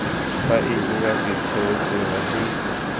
faele ya setheo sengwe le